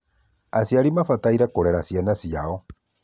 aciari mambataire kũrera ciana ciao